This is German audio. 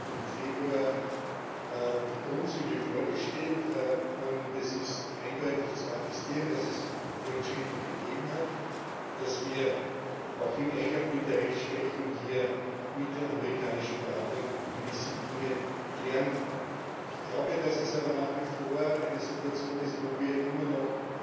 Sie haben uns im Februar die Grundzüge vorgestellt, und es ist eindeutig zu attestieren, dass es Fortschritte gegeben hat, dass wir auch im Einklang mit der Rechtsprechung hier mit den amerikanischen Partnern gewisse Dinge klären konnten. Ich glaube, dass es aber nach wie vor eine Situation ist, wo wir immer noch